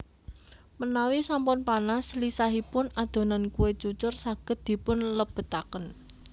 Menawi sampun panas lisahipun adonan kue cucur saged dipun lebetaken